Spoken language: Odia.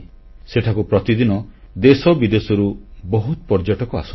ସେଠାକୁ ପ୍ରତିଦିନ ଦେଶବିଦେଶରୁ ବହୁତ ପର୍ଯ୍ୟଟକ ଆସନ୍ତି